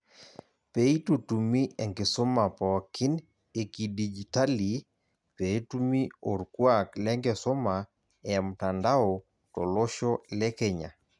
Peitutumi enkisuma pookin ekidijitali peetumi orkuak lenkisuma emtandao tolosho le Kenya